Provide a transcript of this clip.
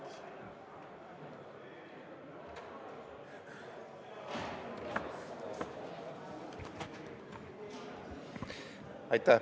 Aitäh!